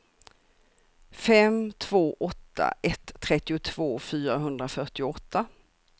fem två åtta ett trettiotvå fyrahundrafyrtioåtta